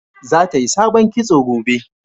za ta yi sabon kitso gobe